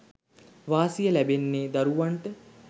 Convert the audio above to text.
වාසිය ලැබෙන්නේ දරුවන්ට.